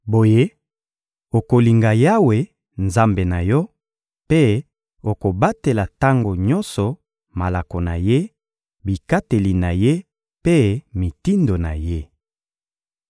Boye, okolinga Yawe, Nzambe na yo, mpe okobatela tango nyonso malako na Ye, bikateli na Ye mpe mitindo na Ye.